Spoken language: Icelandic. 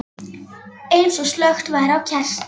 Eins og slökkt væri á kerti.